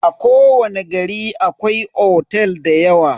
A kowani gari akwai otel dayawa.